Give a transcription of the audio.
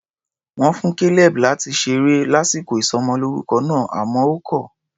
Wọ́n fún Caleb láti ṣeré lásìkò ìsọmọlórúkọ náà, àmọ́ ó kọ̀ ọ́.